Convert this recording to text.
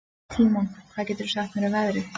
Tímon, hvað geturðu sagt mér um veðrið?